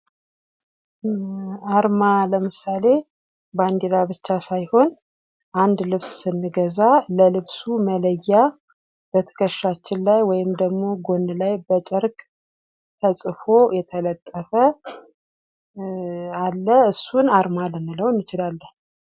ዓርማ ለምሳሌ ባንዲራ ብቻ ሳይሆን አንድ ልብስ ስንገዛ ለልብሱ መለያ በትከሻችን ላይ ወይም ደግሞ ጎን ላይ በጨርቅ ተጽፎ የተለጠፈ አለ እሱን አርማ ልንለው እንችላለን።